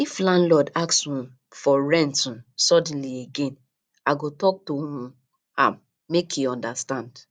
if landlord ask um for rent um suddenly again i go talk to um am make e understand